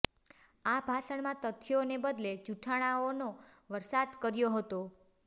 આ ભાષણમાં તથ્યોને બદલે જુઠ્ઠાણાઓનો વરસાદ કર્યો હતો